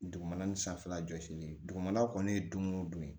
Dugumana ni sanfɛla jɔsilen dugumana kɔni ye don o don ye